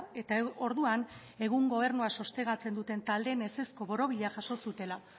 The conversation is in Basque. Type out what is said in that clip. eta orduan egun gobernua sostengatzen duten taldeen ezezko borobila jaso zutela